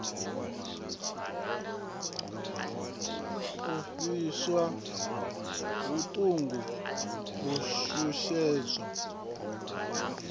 u pfiswa vhuṱungu u shushezwa